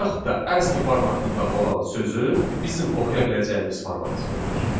və yaxud da aski formatında olan sözü bizim oxuya biləcəyimiz formata çevrilir.